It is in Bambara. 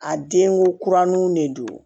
A denko kuraninw ne don